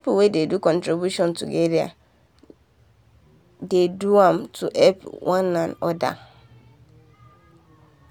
people wen dey do contribution together dey do am to to help one another